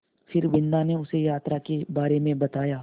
फिर बिन्दा ने उसे यात्रा के बारे में बताया